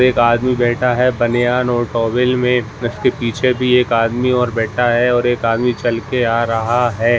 एक आदमी बैठा हुआ है बनियान और टॉवल में उसके पीछे भी एक आदमीओर भी बैठा है और एक आदमी चलकर आ रहा है।